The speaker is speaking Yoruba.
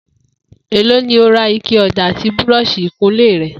Èló ni o ra ike ò̩dà àti búró̩ò̩s̩ì ìkunlé re̩?